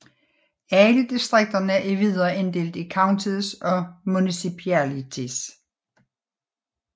Alle distrikterne er videre inddelt i counties og municipalities